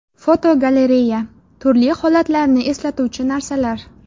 Fotogalereya: Turli holatlarni eslatuvchi narsalar.